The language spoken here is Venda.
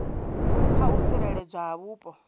kha u tsireledzwa ha vhupo